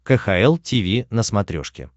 кхл тиви на смотрешке